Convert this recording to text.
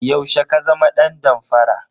Yaushe ka zama dan damfara?